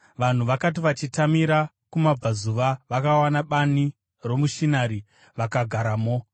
Vanhu vakati vachitamira kumabvazuva, vakawana bani romuShinari vakagaramo.